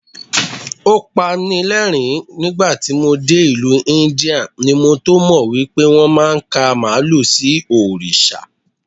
O pani ní ẹ̀rín, nígbàtí mo dé ìlú Íńdíà ni mo tómọ̀ wípé wón máa ń ka Màálù sí Òrìṣà.